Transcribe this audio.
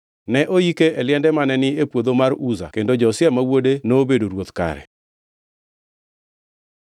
Ne oike e liende mane ni e puodho mar Uza kendo Josia ma wuode nobedo ruoth kare.